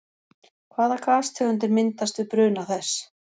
Hvaða gastegundir myndast við bruna þess?